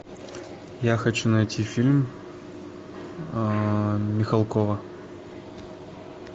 я хочу найти фильм михалкова